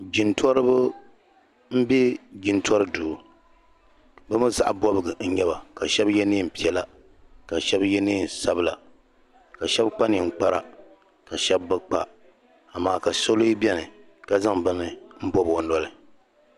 jintɔriba m-be jintɔri duu bɛ mi zaɣ' bɔbigu n-nyɛ ba ka shɛba ye neem' piɛla ka shɛba ye neen' sabila ka shɛba kpa ninkpara ka shɛba bi kpa amaa ka so lee beni ka zaŋ bini m-bɔbi o noli